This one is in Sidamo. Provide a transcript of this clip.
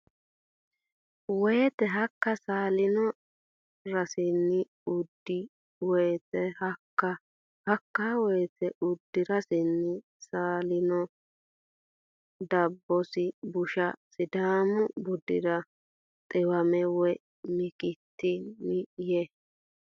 woyte Hakka saalino rasinni uddi woyte Hakka Hakka woyte uddi rasinni saalino Daphaso busha Sidaamu budira dhiwame woy mikitanni Yee !